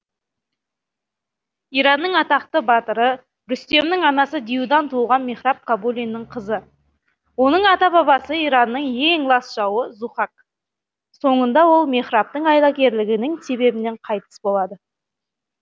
иранның атақты батыры рүстемнің анасы диюдан туылған мехраб кабулинің қызы оның ата бабасы иранның ең лас жауы зүһак соңында ол мехрабтың айлакерлігінің себебінен қайтыс болады